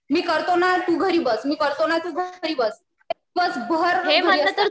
मी करतो ना तू घरी बस. मी करतो ना तू घरी बस. दिवसभर